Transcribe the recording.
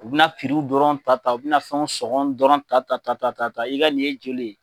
U bɛna piriw dɔrɔn ta ta u bɛ na fɛnw sɔgɔn dɔrɔn ta ta ta ta ta ta i ka nin ye joli ye ?